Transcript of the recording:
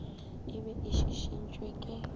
e be e šišintšwe ke